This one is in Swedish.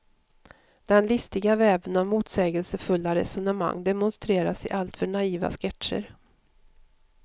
Den listiga väven av motsägelsefulla resonemang demonstreras i alltför naiva sketcher.